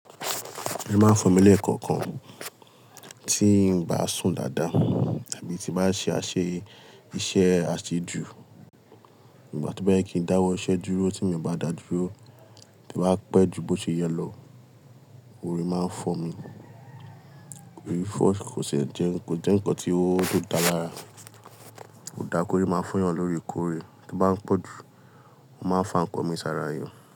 Orí máa ń fọ́ mi lẹ́ẹ̀kọ̀kan, tí ń bá sùn dáadáa, tàbí tí bá ṣe àṣẹ iṣẹ́ àṣejù. Nígbà tó bá yẹ kí n dáwọ́ iṣẹ́ dúró, tí mo bá dà dúró, tí ó bá pẹ́ ju bó ṣe yẹ lọ, orí máa ń fọ́ mi. Orí fọ́ kò ṣe ń jẹ́ ń kọ́ tí ó dára. Kò dáa kó rí máa fó'yàn loórekoóre. Bí ó bá ń pọ̀jù, ó máa ń fa ńǹkan mi sára èèyàn.